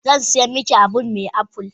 Zan siyan miki abun me apple?